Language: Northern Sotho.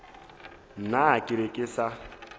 nna ke be ke sa